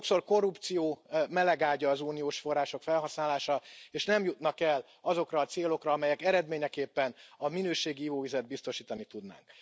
Sokszor korrupció melegágya az uniós források felhasználása, és nem jutnak el azokra a célokra, amelyek eredményeképpen a minőségi ivóvizet biztosítani tudnák.